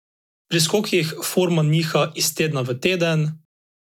Pri skokih forma niha iz tedna v teden.